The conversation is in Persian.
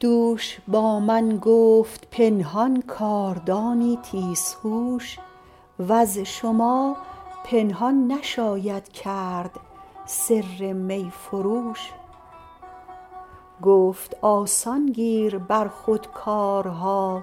دوش با من گفت پنهان کاردانی تیزهوش وز شما پنهان نشاید کرد سر می فروش گفت آسان گیر بر خود کارها